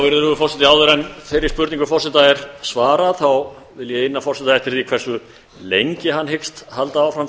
virðulegur forseti áður en þeirri spurningu forseta er svarað þá vil ég inna forseta eftir hversu lengi hann hyggst halda áfram